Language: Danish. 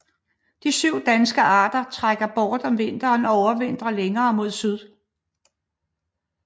De danske arter trækker bort om vinteren og overvintrer længere mod syd